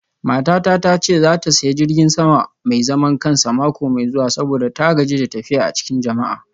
Matata ta ce za ta sayi jirgin sama mai zaman kansa mako mai zuwa saboda ta gaji da tafiya a cikin jama'a.